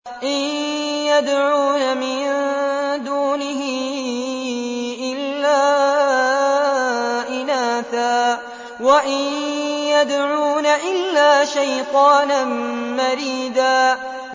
إِن يَدْعُونَ مِن دُونِهِ إِلَّا إِنَاثًا وَإِن يَدْعُونَ إِلَّا شَيْطَانًا مَّرِيدًا